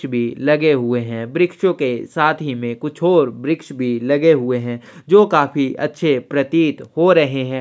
भी लगे हुए है वृक्षों के साथ ही में कुछ और वृक्ष भी लगे हुए है जो काफी अच्छे प्रतित हो रहे है।